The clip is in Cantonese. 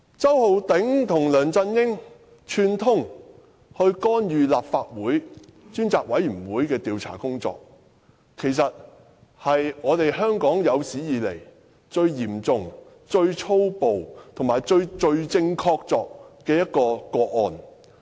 周浩鼎議員和梁振英串通干預立法會專責委員會的調查工作，其實是香港有史以來最嚴重、最粗暴和最罪證確鑿的個案。